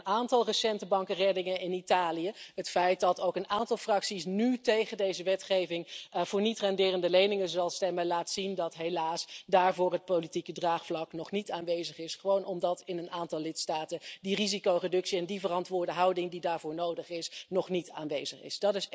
Een aantal recente bankenreddingen in Italië, het feit dat ook een aantal fracties nu tegen deze wetgeving voor niet-renderende leningen zal stemmen, laat zien dat helaas daarvoor het politieke draagvlak nog niet aanwezig is, gewoon omdat in een aantal lidstaten die risicoreductie en die verantwoorde houding die daarvoor nodig is, nog niet aanwezig is.